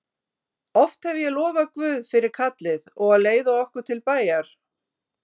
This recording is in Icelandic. Oft hef ég lofað Guð fyrir kallið og að leiða okkur til bæjar.